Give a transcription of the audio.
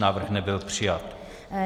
Návrh nebyl přijat.